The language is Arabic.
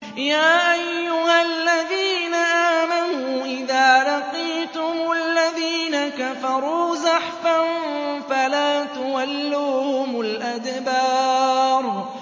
يَا أَيُّهَا الَّذِينَ آمَنُوا إِذَا لَقِيتُمُ الَّذِينَ كَفَرُوا زَحْفًا فَلَا تُوَلُّوهُمُ الْأَدْبَارَ